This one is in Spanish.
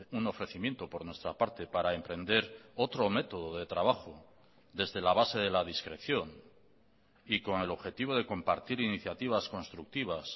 un ofrecimiento por nuestra parte para emprender otro método de trabajo desde la base de la discreción y con el objetivo de compartir iniciativas constructivas